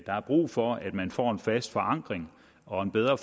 er brug for at man får en fast forankring og en bedre